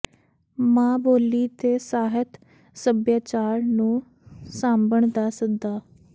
ਮਾਂ ਬੋਲੀ ਤੇ ਸਾਹਿਤ ਸੱਭਿਆਚਾਰ ਨੂੰ ਸਾਂਭਣ ਦਾ ਸੱਦਾ